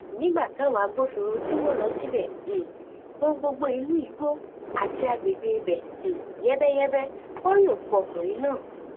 nígbà táwọn agbófinró tí wọn lọ síbẹ um gbọn gbogbo inú igbó àti àgbègbè ibẹ um yẹbẹyẹbẹ wọn rí òkú ọkùnrin náà